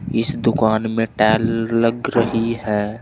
इस दुकान में टेल लग रही है।